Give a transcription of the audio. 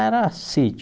Era sítio